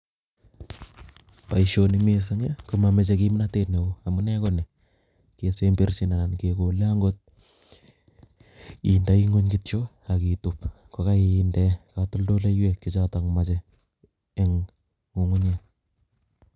Boishoni mising komomoche kimnotet neoo amunee koni, kesemberchin anan kekole ang'ot indoi ngweny kityo ak ituub kokoinde katoldoloiwek choton moche eng' ng'ung'unyek